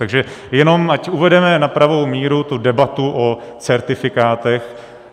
Takže jenom ať uvedeme na pravou míru tu debatu o certifikátech.